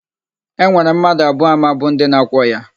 E nwere mmadu abụọ ama bụ ndi na-akwọ ya.